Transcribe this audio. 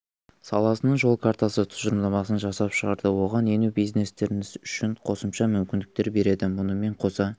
саласының жол картасы тұжырымдамасын жасап шығарды оған ену бизнестеріңіз үшін қосымша мүмкіндіктер береді мұнымен қоса